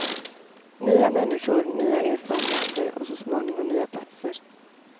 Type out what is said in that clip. Nya människor, nya erfarenheter och så småningom nya platser.